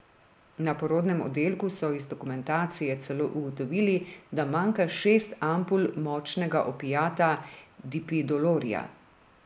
Na porodnem oddelku so iz dokumentacije celo ugotovili, da manjka šest ampul močnega opijata dipidolorja.